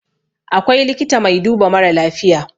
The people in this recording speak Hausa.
akwai likita mai duba mara lafiya